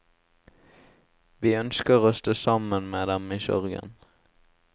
Vi ønsker å stå sammen med dem i sorgen.